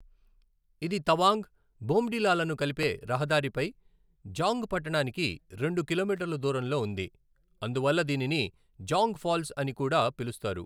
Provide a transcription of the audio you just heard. ఇది తవాంగ్, బోమ్డిలాలను కలిపే రహదారిపై జాంగ్ పట్టణానికి రెండు కిలోమీటర్ల దూరంలో ఉంది, అందువల్ల దీనిని జాంగ్ ఫాల్స్ అని కూడా పిలుస్తారు.